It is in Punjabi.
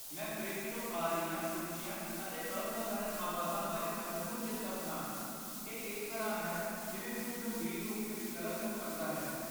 ਮੈਂ ਫਰਿੱਜ ਤੋਂ ਆ ਰਹੀਆਂ ਉੱਚੀਆਂ ਅਤੇ ਅਸਧਾਰਨ ਆਵਾਜ਼ਾਂ ਬਾਰੇ ਸੱਚਮੁੱਚ ਚਿੰਤਤ ਹਾਂ, ਇਹ ਇਸ ਤਰ੍ਹਾਂ ਹੈ ਜਿਵੇਂ ਕੁੱਝ ਗੰਭੀਰ ਰੂਪ ਵਿੱਚ ਗ਼ਲਤ ਹੋ ਸਕਦਾ ਹੈ।